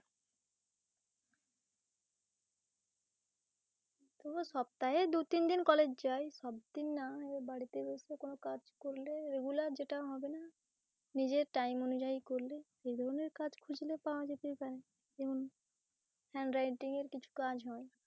সপ্তাহে দু-তিন দিন college যাই সব দিন না বাড়িতে বসে কোন কাজ করলে regular যেটা হবে না নিজের time অনুযায়ী করলে এ ধরনের কাজ খুঁজলে পাওয়া যেতেই পারে যেমন handwriting এর কিছু কাজ হয়।